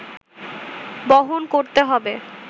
বহন করতে হবে